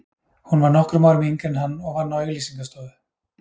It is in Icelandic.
Hún var nokkrum árum yngri en hann og vann á auglýsingastofu.